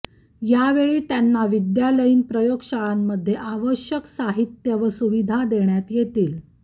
यावेळी त्यांनी विद्यालयीन प्रयोगशाळांमध्ये आवश्यक साहित्य व सुविधा देण्यात येतील